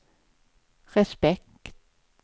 respekt